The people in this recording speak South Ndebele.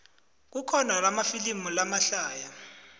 kukhona amafilimu lamahlaya